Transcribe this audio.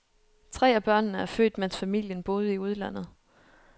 Tre af børnene er født, mens familien boede i udlandet.